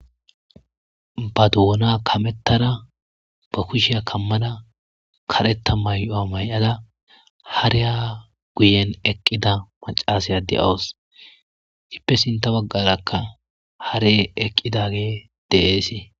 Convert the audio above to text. Ba doona kamettara ba kusheya kammana karetta mayyo'a mayada hareya guyen eqqida macasaya de'awos dippe sinta baggarakka hare eqqidage deeesii.